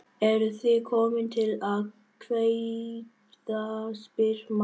Eruð þið komin til að kveðja, spyr mamma.